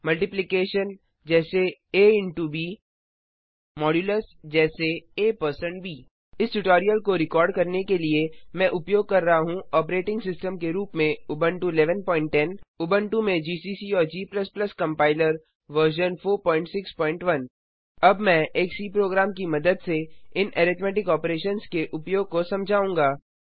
Multiplication जैसे ab Modulus जैसे ab इस ट्यूटोरियल को रिकार्ड करने के लिए मैं उपयोग कर रहा हूँ ऑपरेटिंग सिस्टम के रूप में उबुंटू 1110 उबुंटू में जीसीसी और g कंपाइलर वर्जन 461 अब मैं एक सी प्रोग्राम की मदद से इन अरिथ्मैटिक ऑपरेशन्स के उपयोग को समझाऊँगा